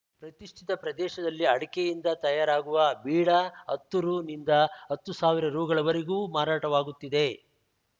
ಪ್ರತಿಷ್ಠಿತ ಪ್ರದೇಶದಲ್ಲಿ ಅಡಕೆಯಿಂದ ತಯಾರಾಗುವ ಬೀಡಾ ಹತ್ತು ರು ನಿಂದ ಹತ್ತು ಸಾವಿರ ರು ಗಳ ವರೆಗೂ ಮಾರಾಟವಾಗುತ್ತಿದೆ